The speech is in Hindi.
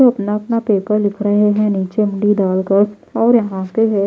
अपना अपना पेपर लिख रहे हैं नीचे मुंडी डालकर और यहां पे हैं।